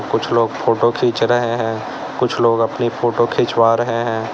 कुछ लोग फोटो खींच रहे है कुछ लोग अपनी फोटो खिंचवा रहे है।